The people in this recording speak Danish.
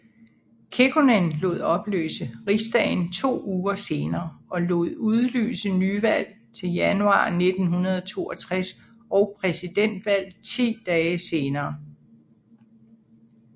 Kekkonen lod opløse riksdagen to uger senere og lod udlyse nyvalg til januar 1962 og præsidentvalg ti dage senere